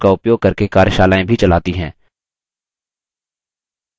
spoken tutorials का उपयोग करके कार्यशालाएँ भी चलाती है